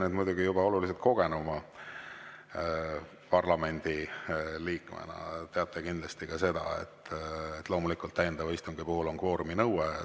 Teie muidugi juba oluliselt kogenuma parlamendiliikmena teate kindlasti ka seda, et loomulikult on täiendava istungi puhul kvooruminõue.